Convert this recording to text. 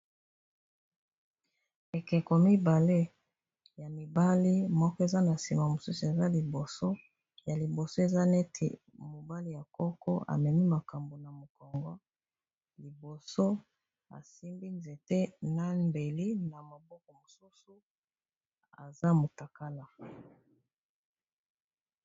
Ekeko mibale ya mibali moko eza na sima mosusu eza liboso ya liboso eza neti mobali ya koko amemi makambo na mokongo liboso asimbi nzete nambeli na maboko mosusu eza motakala